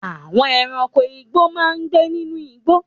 Àwọn ẹranko igbó máa ń gbé nínú igbó.